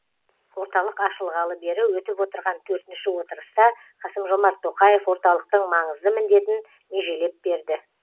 орталық ашылғалы бері өтіп отырған төртінші отырыста қасым жомарт тоқаев орталықтың маңызды міндетін межелеп берді